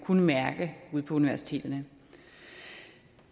kunne mærkes ude på universiteterne